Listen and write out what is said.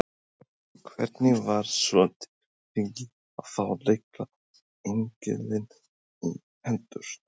Hafsteinn: Og hvernig var svo tilfinningin að fá litla engilinn í hendurnar?